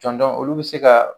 Cɔnjɔnw olu bɛ se ka